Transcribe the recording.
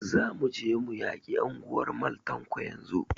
Za mu je mu yaki anguwar Mal Tanko yanzun!